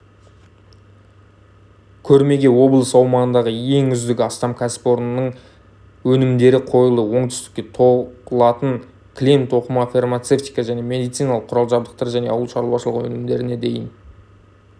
көрмеге облыс аумағындағы ең үздік астам кәсіпорынның өнімдері қойылды оңтүстікте тоқылатын кілем тоқыма фармацевтика мен медициналық құрал-жабдықтар және ауылшаруашылық өнімдеріне дейін